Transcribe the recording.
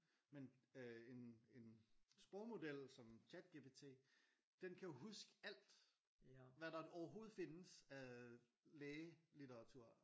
Men øh en en sprogmodel som ChatGPT den kan huske alt hvad der overhoved findes af lægelitteratur